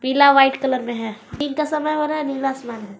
पीला white colour में है दिन का समय हो रहा है नीला आसमान है।